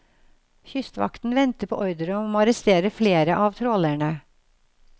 Kystvakten venter på ordre om å arrestere flere av trålerne.